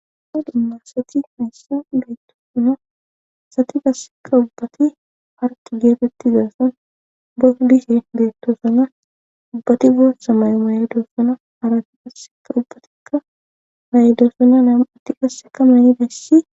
Dumma dumma asati hayssan beyttoosona asati gasseka ubbati harki geetetti zaasan bodishen deettosona ubbati boossa may7o mayedoossona harati qasseka ubbatikka may7edosona nam7atti qasseka mayidays